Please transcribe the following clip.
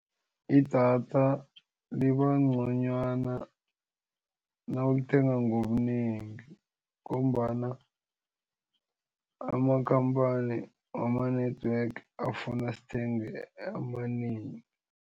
Idatha libangconywana nawulithenga ngobunengi ngombana amakhamphani wama-network afuna sithenge amanengi.